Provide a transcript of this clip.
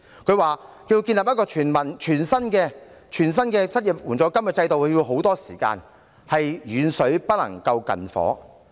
局長表示，要建立一個全新的失業援助金制度需時甚久，遠水不能救近火。